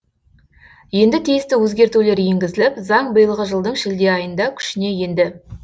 енді тиісті өзгертулер енгізіліп заң биылғы жылдың шілде айында күшіне енді